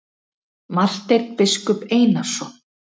Marteinn biskup Einarsson.